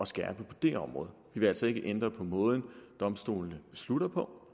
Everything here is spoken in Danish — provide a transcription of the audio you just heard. skærpe på det område vi vil altså ikke ændre på måden domstolene beslutter på